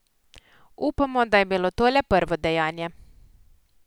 Upamo, da je bilo to le prvo dejanje.